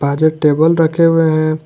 आज एक टेबल रखे हुए हैं।